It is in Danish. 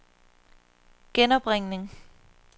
genopringning